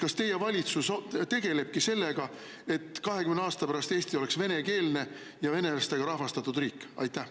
Kas teie valitsus tegelebki sellega, et 20 aasta pärast oleks Eesti venekeelne ja venelastega rahvastatud riik?